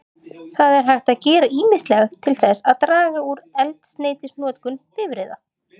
Það er hægt að gera ýmislegt til þess að draga úr eldsneytisnotkun bifreiða.